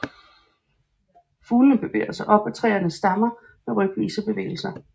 Fuglene bevæger sig op ad træernes stammer med rykvise bevægelser